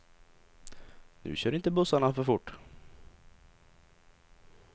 Nu kör inte bussarna för fort.